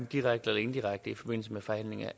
direkte eller indirekte i forbindelse med forhandlinger